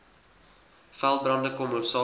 veldbrande kom hoofsaaklik